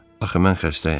Axı mən xəstəyəm.